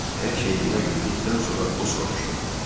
Hər şeyi nəql etdikdən sonra o soruşdu: